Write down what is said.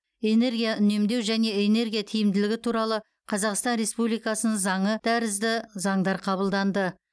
энергия үнемдеу және энергия тиімділігі туралы қазақстан республикасының заңы тәрізді заңдар қабылданды